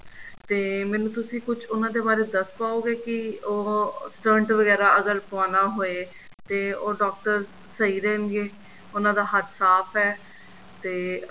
ਤੇ ਮੈਂਨੂੰ ਤੁਸੀਂ ਕੁੱਝ ਉਹਨਾ ਦੇ ਬਾਰੇ ਦੱਸ ਪਾਓਗੇ ਕੀ ਉਹ stunt ਵਗੈਰਾ ਅਗਰ ਪੁਆਣਾ ਹੋਏ ਤੇ ਉਹ ਡਾਕਟਰ ਸਹੀ ਰਹਿਣਗੇ ਉਹਨਾ ਦਾ ਹੱਥ ਸਾਫ਼ ਹੈ ਤੇ